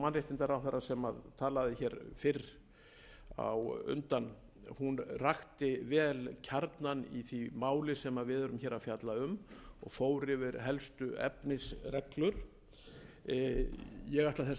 mannréttindaráðherra sem talaði hér fyrr á undan rakti vel kjarnann í því máli sem við erum hér að fjalla um og fór yfir helstu efnisreglur ég ætla þess vegna ekki að